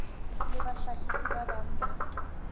le bahlahisi ba bang ba